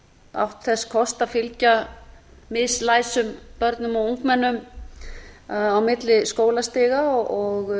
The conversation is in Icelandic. átt þess kost að fylgja mislæsum börnum og ungmennum á milli skólastiga og